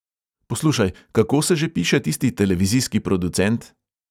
"Poslušaj, kako se že piše tisti televizijski producent?"